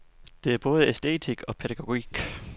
Det er både æstetik og pædagogik.